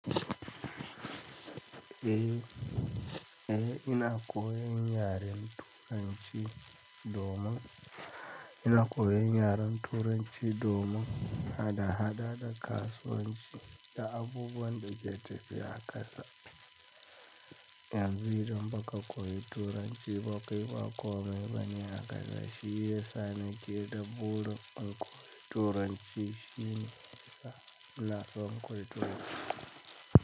Eh, eh ina koyan yaren Turanci domin, ina koyan yaren Turanci domin hada-hada da kasuwanci da abubuwan da ke tafiya a kasa. Yanzu idan ba ka koyi Turanci ba kai ba komai bane a kasa. Shi yasa nake da burin in koyi Turanci. Shi ne yasa ina so in koyi Turanci.